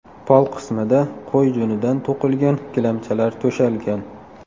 Pol qismida qo‘y junidan to‘qilgan gilamchalar to‘shalgan.